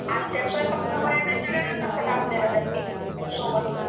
आणि त्या स्वयंपाकाला बया वेगळ्याच असतात आणलेल्या त्यांनी सोबत